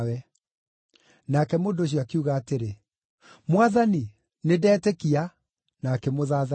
Nake mũndũ ũcio akiuga atĩrĩ, “Mwathani, nĩndetĩkia,” na akĩmũthathaiya.